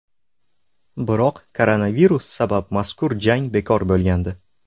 Biroq koronavirus sabab mazkur jang bekor bo‘lgandi .